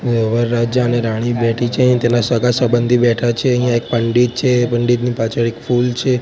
એ વરરાજાને રાણી બેઠી છે તેના સગા સંબંધી બેઠા છે અહીંયા એક પંડિત છે પંડિતની પાછળ એક ફૂલ છે.